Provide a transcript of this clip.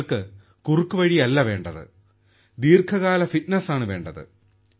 നിങ്ങൾക്ക് കുറുക്കുവഴിയല്ല വേണ്ടത് ദീർഘകാല ഫിറ്റ്നസ് ആണ് വേണ്ടത്